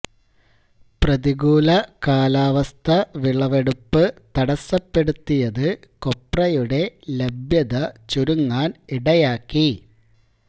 പ്രതികൂല കാലാവസ്ഥ വിളവെടുപ്പ് തടസ്സപ്പെടുത്തിയത് കൊപ്രയുടെ ലഭ്യത ചുരുങ്ങാൻ ഇടയാക്കി